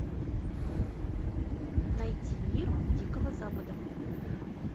найти мир дикого запада